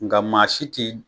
Nka maa si ti